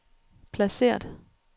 placeret